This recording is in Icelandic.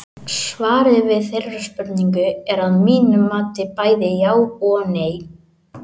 Svarið við þeirri spurningu er að mínu mati bæði já og nei.